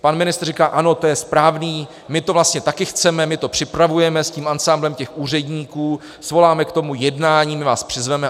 Pan ministr říká - ano, to je správný, my to vlastně taky chceme, my to připravujeme s tím ansámblem těch úředníků, svoláme k tomu jednání, my vás přizveme.